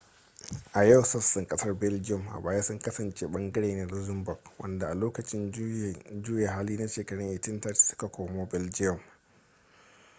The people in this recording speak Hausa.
a yau sassan kasar belgium a baya sun kasance ɓangare ne na luxembourg wadanda a lokacin juyin juya hali na shekarun 1830 su ka komo belgium